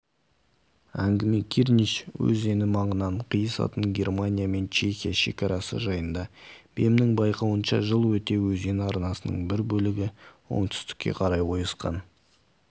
әңгіме кирнич өзені маңынан қиысатын германия мен чехия шегарасы жайында бемнің байқауынша жыл өте өзен арнасының бір бөлігі оңтүстікке қарай ойысқан